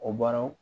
O baaraw